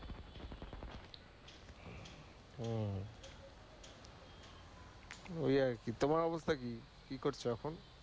তো ঐ আর কি। তোমার অবস্থা কি? কি করছ এখন?